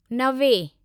नवे